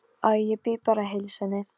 Láta bjóða sér út og hætta svo við.